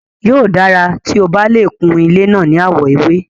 Yóò dára tí o bá lè kun ilé náà ní àwọ̀ ewé.